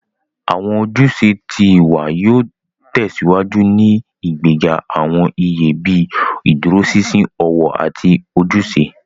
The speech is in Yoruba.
Awọn ojúṣe tí ìwà yóò tèsíwájú ní ìgbéga awọn iye bii ìdúróṣinṣin, ọwọ, àti ojúṣe.